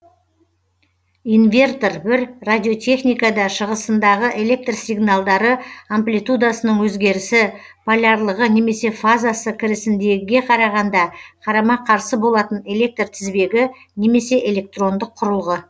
инвертор бір радиотехникада шығысындағы электр сигналдары амплитудасының өзгерісі полярлығы немесе фазасы кірісіндегіге қарағанда қарама қарсы болатын электр тізбегі немесе электрондық құрылғы